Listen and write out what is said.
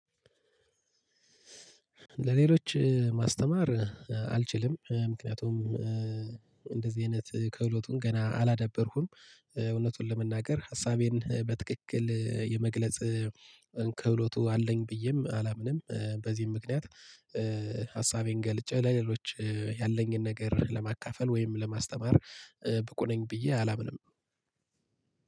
ለሌሎች ማስተማር አልችልም። ምክንያቱም እንደዚህ አይነት ከህሎቱን ገና አላዳበርኩም እውነቱን ለመናገር ሀሳቤን በትክክል የመግለጽ ከህሎቱ አለኝ ብዬም አላምንም። በዚህም ምክንያት ሀሳቤን ገልጬ ለሌሎች ያለኝን ነገር ለማካፈል ወይም ለማስተማር ብቁ ነኝ ብዬ አላምንም።